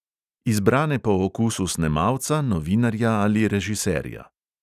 Izbrane po okusu snemalca, novinarja ali režiserja.